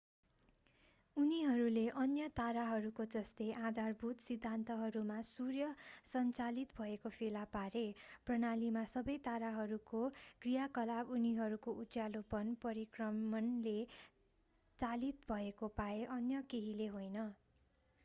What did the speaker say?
उनीहरूले अन्य ताराहरूको जस्तै आधारभूत सिद्धान्तहरूमा सूर्य संचालित भएको फेला पारे प्रणालीमा सबै ताराहरूको क्रियाकलाप उनीहरूको उज्यालोपन परिक्रमणले चालित भएको पाए अन्य केहीले होइन